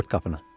Ört qapını.